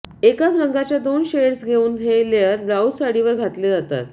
एकाच रंगाच्या दोन शेड्स घेऊन हे लेअर ब्लाऊज साडीवर घातले जातात